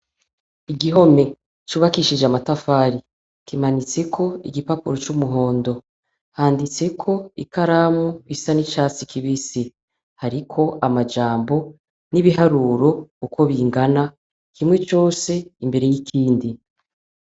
Igihome cubakishije amatafari kimanitseko igipapuro c'umuhondo. Handitseko ikaramu isa n'icatsi kibisi, hariko amajambo n'ibiharuro uko bingana kimwe cose imbere y'ikindi.